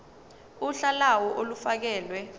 uhla lawo olufakelwe